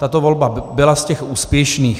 Tato volba byla z těch úspěšných.